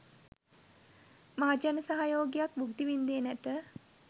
මහජන සහයෝගයක් භුක්ති වින්දේ නැත.